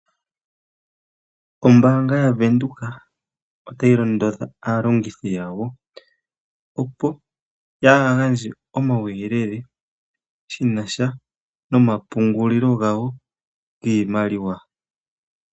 Ombaanga yavenduka otayi londodha aalongithi yayo, opo yaagandje omawuyelele shinasha nomapungulilo gawo giimaliwa.